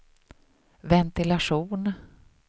ventilation